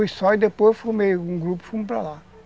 Não, eu fui só e depois eu formei um grupo e fomos para lá.